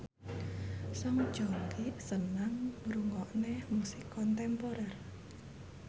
Song Joong Ki seneng ngrungokne musik kontemporer